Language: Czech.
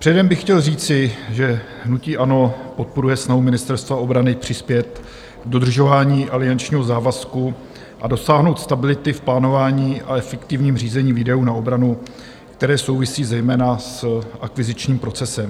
Předem bych chtěl říci, že hnutí ANO podporuje snahu Ministerstva obrany přispět k dodržování aliančního závazku a dosáhnout stability v plánování a efektivním řízení výdajů na obranu, které souvisí zejména s akvizičním procesem.